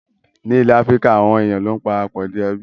Ní ilẹ̀ Áfíríkà, àwọn èèyàn ló ń para pọ̀ di ẹbí